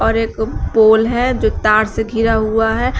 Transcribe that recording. और एक पोल है जो तार से घिरा हुआ है।